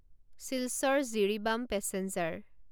Silchar Jiribam passenger